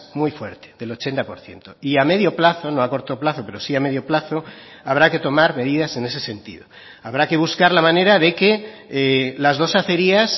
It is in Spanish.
muy fuerte del ochenta por ciento y a medio plazo no a corto plazo pero sí a medio plazo habrá que tomar medidas en ese sentido habrá que buscar la manera de que las dos acerías